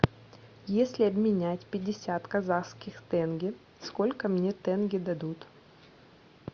если обменять пятьдесят казахских тенге сколько мне тенге дадут